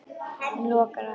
Hann lokar á eftir sér.